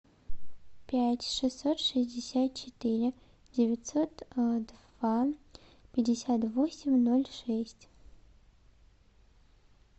пять шестьсот шестьдесят четыре девятьсот два пятьдесят восемь ноль шесть